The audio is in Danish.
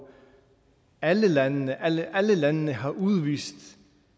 alle landene alle landene har udvist